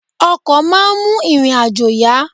Ọkọ̀ máa ń mú ìrìn-àjò yá.